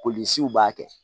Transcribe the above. Polisiw b'a kɛ